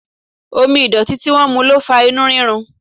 Omi ìdọ̀tí tí wọ́n mu ló fa inú rírun.